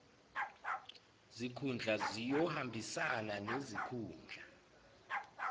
zikhundla ziyohambisana nezikhundla